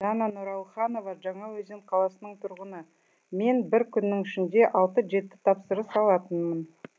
дана нұралханова жаңаөзен қаласының тұрғыны мен бір күннің ішінде алты жеті тапсырыс алатынмын